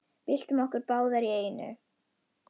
Byltum okkur báðar í einu.